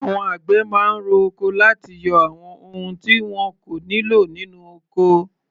Àwọn àgbẹ̀ máa ń ro oko láti yọ àwọn ohun tí wọn kò nílò nínú ọkọ.